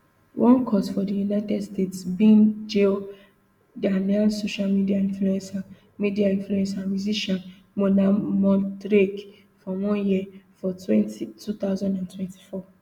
one court for di united states bin jail ghanaian social media influencer media influencer and musician mona montrage for one year for two thousand and twenty-four